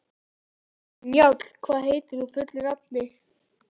Njáll, hvað heitir þú fullu nafni?